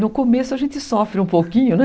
No começo a gente sofre um pouquinho, né?